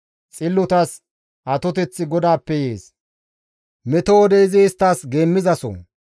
Xillotas atoteththi GODAAPPE yees; meto wode izi isttas geemmizaso.